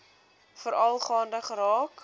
veral gaande geraak